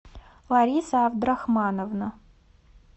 лариса абдрахмановна